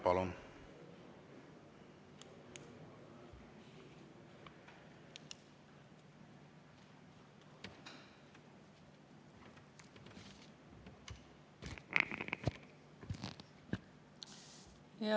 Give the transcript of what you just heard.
Palun!